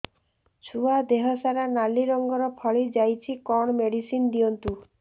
ଛୁଆ ଦେହ ସାରା ନାଲି ରଙ୍ଗର ଫଳି ଯାଇଛି କଣ ମେଡିସିନ ଦିଅନ୍ତୁ